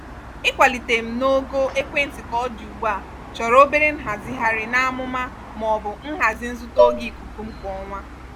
ịkwalite m gaa n'ogo ekwentị ka ọ dị ugbua chọrọ obere nhazigharị n'amụma maọbu nhazi nzuta ógè ikuku m kwa ọnwa.